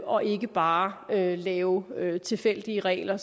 og ikke bare lave lave tilfældige regler